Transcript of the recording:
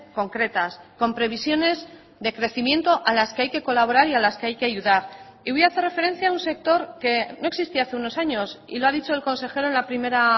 concretas con previsiones de crecimiento a las que hay que colaborar y a las que hay que ayudar y voy a hacer referencia a un sector que no existía hace unos años y lo ha dicho el consejero en la primera